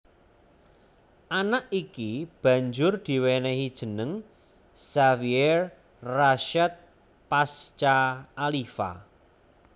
Anak iki banjur diwénéhi jeneng Xavier Rasyad Pasca Aliva